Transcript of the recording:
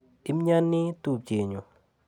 Imiani tupchenyu.